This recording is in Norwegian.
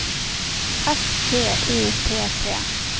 S T O P P